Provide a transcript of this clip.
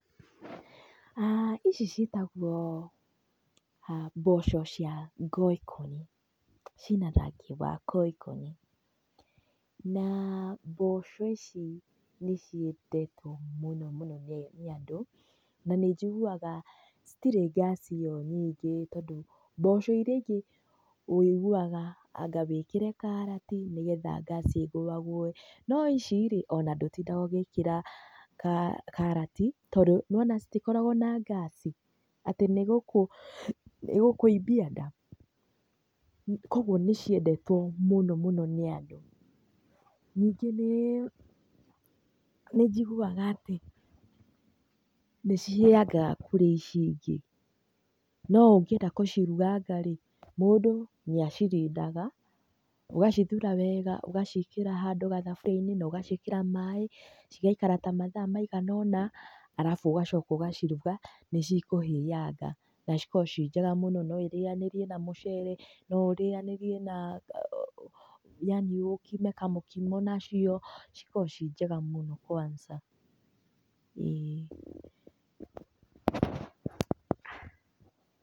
Ici cĩtagwo mboco cia ngoikonĩ cĩna rangĩ wa ngoikonĩ, na mboco ici nĩ cĩendetwo mũno mũno nĩ andũ na nĩ njiguwaga cĩtirĩ ngasi ĩyo nyingĩ tondũ mboco ĩria ĩngĩ wũĩguwaga anga wĩkĩre karati nĩgetha ngasi ĩgũeagũwe naĩcĩ ona mdũtindaga ũgĩkĩra karati tondũ nĩ wona citikoragwo na ngasi, atĩ nĩ ĩgũkũimbia nda. Koguo nĩ cĩendetwo mũno mũno nĩ andũ. Ningĩ nĩ njiguwaga atĩ nĩ cihĩyangaga kũrĩ ici ĩngĩ, no ũngĩenda gũciruganga rĩ mũndũ nĩ acirindaga ũgacithura wega ũgacĩikĩra handũ gathaburiainĩ ũgacĩikĩra maĩ cigaikara ta mathaa maigana ũna arabu ũgacoka ũgaciruga na nĩ cĩkũhĩyanga na cikorwo ci njega mũno. No irĩyanĩrio na mũcere, no ũrĩyanĩrie na, yani ũkime kamũkimo nacio, cikoragwo cĩ njega mũno kwansa ĩĩ.